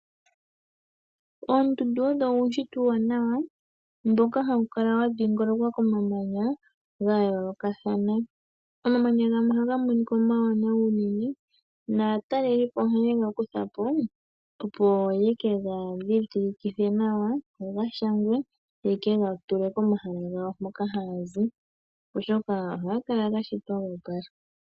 Oondundu odho uunshitwe uuwanawa mboka hawu kala wa dhingolokwa komamanya ga yoolokathana. Omamanya gamwe ohaga monika omawanawa unene, naatalelipo ohaye ga kutha po, opo ye ke ga dhidhilikithe nawa, go ga shangwe, ye ke ga tule pomahala gawo mpoka haya zi, oshoka ohaga kala ga shitwa go opala.